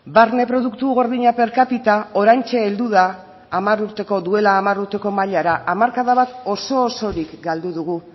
barne produktu gordina per capita oraintxe heldu da duela hamar urteko mailara hamarkada bat oso osorik galdu dugu